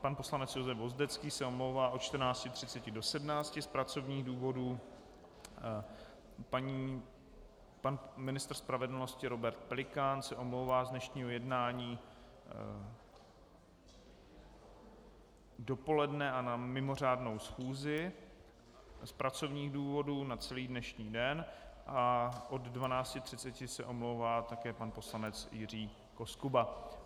pan poslanec Josef Vozdecký se omlouvá od 14.30 do 17 z pracovních důvodů, pan ministr spravedlnosti Robert Pelikán se omlouvá z dnešního jednání dopoledne a na mimořádnou schůzi z pracovních důvodů, na celý dnešní den a od 12.30 se omlouvá také pan poslanec Jiří Koskuba.